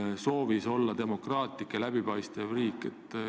Me ju soovime olla demokraatlik ja läbipaistev riik.